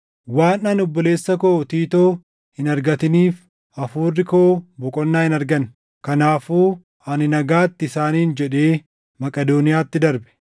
waan ani obboleessa koo Tiitoo hin argatiniif, hafuurri koo boqonnaa hin arganne. Kanaafuu ani nagaatti isaaniin jedhee Maqedooniyaatti darbe.